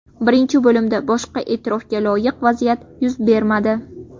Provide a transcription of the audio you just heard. Birinchi bo‘limda boshqa e’tirofga loyiq vaziyat yuz bermadi.